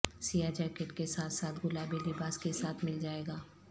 سیاہ جیکٹ کے ساتھ ساتھ گلابی لباس کے ساتھ مل جائے گا